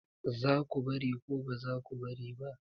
Za ku bari ko ba za ku bari ba?